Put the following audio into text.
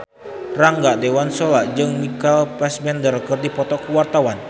Rangga Dewamoela jeung Michael Fassbender keur dipoto ku wartawan